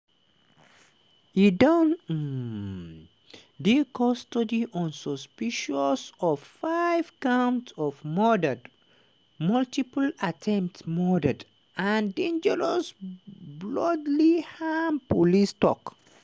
e don um dey custody on suspicion of five counts of murder multiple attempted murders and dangerous bodily harm police tok.